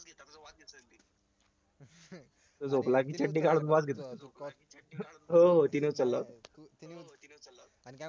तो झोपला की चड्डी खालून वास घेतो हो तिने उचलला होता